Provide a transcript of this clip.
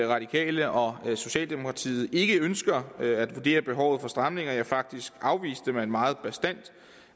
radikale og socialdemokratiet ikke ønsker at vurdere behovet for stramninger ja faktisk afviste man meget bastant